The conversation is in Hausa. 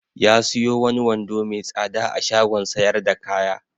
Ya siyo wani wando mai tsada a shagon sayar da kaya.